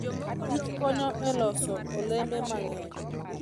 kich konyo e loso olembe mang'eny.